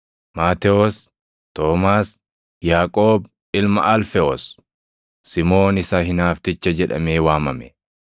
Maatewos, Toomaas, Yaaqoob ilma Alfewoos, Simoon isa Hinaafticha jedhamee waamame,